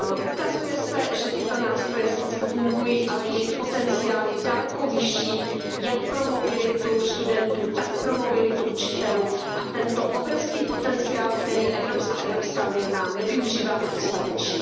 Ukazuje se, že tyto nástroje sice fungují, ale jejich potenciál je daleko vyšší jak pro mobilitu studentů, tak pro mobilitu učitelů a tento obrovský potenciál, který Evropská unie má, nevyužíváme dostatečně.